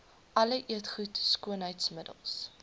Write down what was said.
alle eetgoed skoonheidsmiddels